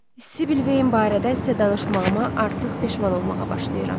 Sibyl Vane barədə sizə danışmağıma artıq peşman olmağa başlayıram.